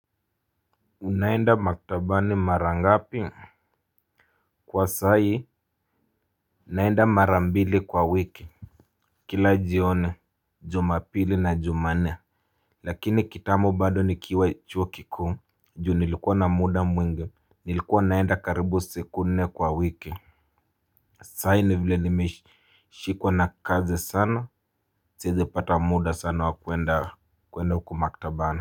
Unaenda maktabani mara ngapi. Kwa sahi naenda mara mbili kwa wiki. Kila jioni Jumapili na jumanne. Lakini kitambo bado nikiwa chuo kikuu Ju nilikuwa na muda mwingi. Nilikuwa naenda karibu siku nne kwa wiki. Sahi ni vile nimeshikwa na kazi sana siezi kupata muda sana wa kuenda huku maktabani.